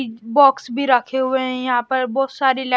box भी रखे हुए हैं यहां पर बहुत सारी --